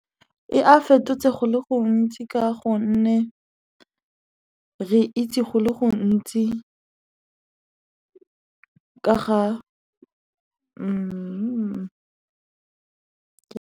Ee, a fetotse go le gontsi ka gonne re itse go le gontsi ka ga .